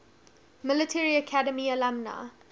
military academy alumni